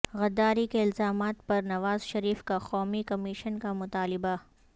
غداری کے الزامات پر نواز شریف کا قومی کمیشن کا مطالبہ